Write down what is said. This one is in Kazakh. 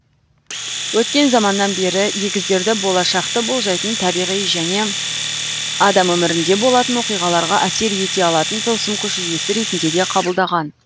өткен заманнан бері егіздерді болашақты болжайтын табиғи және адам өмірінде болатын оқиғаларға әсер ете алатын тылсым күш иесі ретінде де қабылдаған